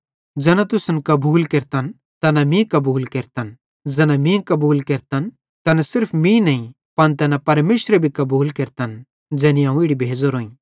ज़ैना तुसन कबूल केरतन तैना मीं कबूल केरतन ज़ैना मीं कबूल केरतन तैना सिर्फ मीं नईं पन तैना परमेशरे भी कबूल केरतन ज़ैनी अवं इड़ी भेज़ोरोईं